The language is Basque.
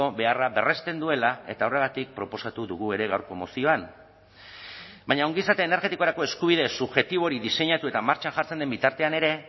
beharra berresten duela eta horregatik proposatu dugu ere gaurko mozioan baina ongizate energetikorako eskubide subjektibo hori diseinatu eta martxan jartzen den bitartean ere